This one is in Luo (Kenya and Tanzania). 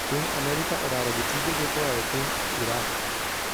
Piny Amerika odaro jotijege koae piny Iraq.